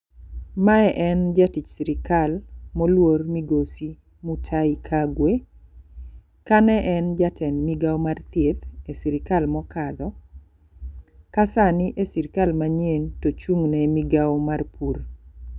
Mae en jatich sirikal moluor migosi Mutahi Kagwe. Kane en jatend migawo mar thieth e sirikal mokadho ka sani e sirikal manyien tochung' ne migawo mar pur.